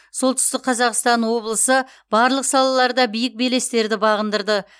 солтүстік қазақстан облысы барлық салаларда биік белестерді бағындырды